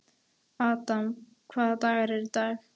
Adam, hvaða dagur er í dag?